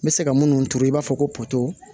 N bɛ se ka minnu turu i b'a fɔ ko poto